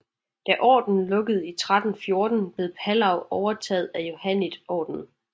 Da ordenen lukkede i 1314 blev Palau overtaget af Johanniterordenen